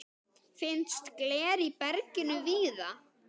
Finnst gler í berginu víða.